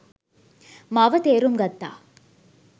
මාව තේරුම් ගත්තා.